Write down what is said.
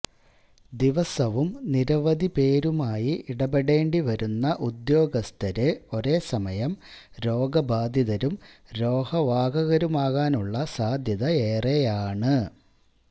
ദിവസവും നിരവധി പേരുമായി ഇടപെടേണ്ടി വരുന്ന ഉദ്യോഗസ്ഥര് ഒരേസമയം രോഗബാധിതരും രോഗവാഹകരുമാകാനുള്ള സാധ്യതയേറെയാണ്